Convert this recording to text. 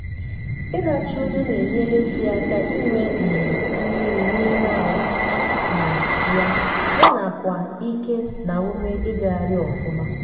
ilacha nnu na enyere efi aka inwe um mmiri n'ime arụ um ya nyanakwa ike n' ume ịgagharị ọfụma.